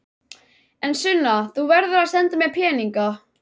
En Sunna, þú verður að senda mér peninga.